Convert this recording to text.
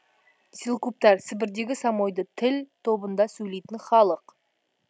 селькуптар сібірдегі самойди тіл тобында сөйлейтін халық